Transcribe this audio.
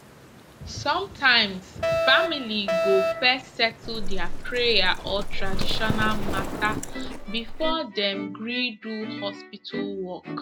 sometimes family go first settle their prayer or traditional matter before dem gree do hospital work